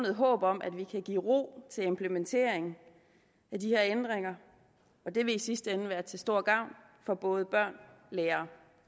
håb om at vi kan give ro til implementering af de her ændringer og det vil i sidste ende være til stor gavn for både børn lærere